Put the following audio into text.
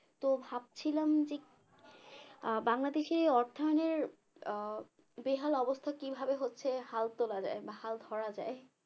তো ভাবছিলাম যে আহ বাংলাদেশের অর্থায়নের বেহাল অবস্থা কিভাবে হচ্ছে হাল তোলা যায় বা হাল ধরা যায়